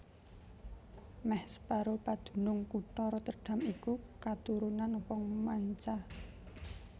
Mèh separo padunung kutha Rotterdam iku katurunan wong manca